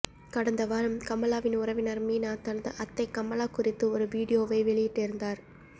கடந்த வாரம் கமலாவின் உறவினர் மீனா தனது அத்தை கமலா குறித்து ஒரு வீடியோவை வெளியிட்டிருந்தார்